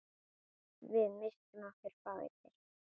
Við misstum okkur báðir.